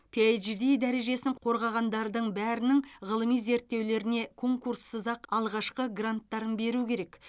пиашди дәрежесін қорғағандардың бәрінің ғылыми зерттеулеріне конкурссыз ақ алғашқы гранттарын беру керек